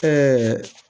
Ɛɛ